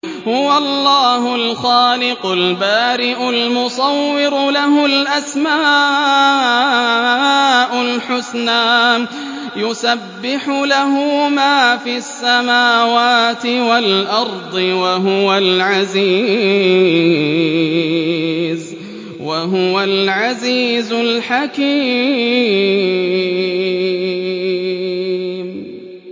هُوَ اللَّهُ الْخَالِقُ الْبَارِئُ الْمُصَوِّرُ ۖ لَهُ الْأَسْمَاءُ الْحُسْنَىٰ ۚ يُسَبِّحُ لَهُ مَا فِي السَّمَاوَاتِ وَالْأَرْضِ ۖ وَهُوَ الْعَزِيزُ الْحَكِيمُ